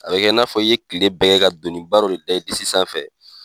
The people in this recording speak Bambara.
A bɛ kɛ i n'a fɔ i ye kile bɛɛ kɛ ka doni ba dɔ de da i disi sanfɛ.